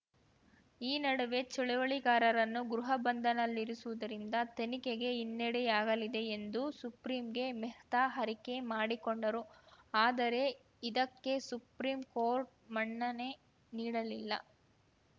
ಈ ನಡುವೆ ಚಳವಳಿಗಾರರನ್ನು ಗೃಹ ಬಂಧನಲ್ಲಿರಿಸುವುದರಿಂದ ತನಿಖೆಗೆ ಹಿನ್ನಡೆಯಾಗಲಿದೆ ಎಂದು ಸುಪ್ರೀಂಗೆ ಮೆಹ್ತಾ ಅರಿಕೆ ಮಾಡಿಕೊಂಡರು ಆದರೆ ಇದಕ್ಕೆ ಸುಪ್ರೀಂ ಕೋರ್ಟ್‌ ಮನ್ನಣೆ ನೀಡಲಿಲ್ಲ